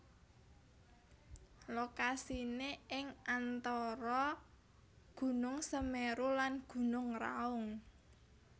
Lokasiné ing antara Gunung Semeru lan Gunung Raung